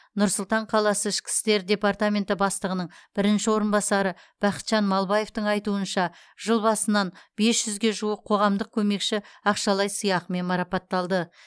нұр сұлтан қаласы ішкі істер департаменті бастығының бірінші орынбасары бақытжан малыбаевтың айтуынша жыл басынан бес жүзге жуық қоғамдық көмекші ақшалай сыйақымен марапатталды